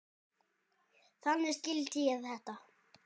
Þannig skildi ég þetta.